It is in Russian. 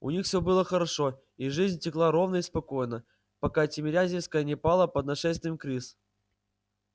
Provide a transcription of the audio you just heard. у них все было хорошо и жизнь текла ровно и спокойно пока тимирязевская не пала под нашествием крыс